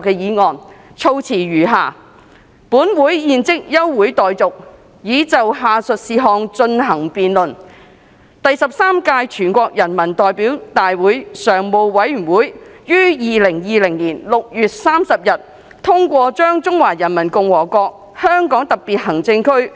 議案措辭如下："本會現即休會待續，以就下述事項進行辯論：第十三屆全國人民代表大會常務委員會在2020年6月30日通過把《中華人民共和國香港特別行政區維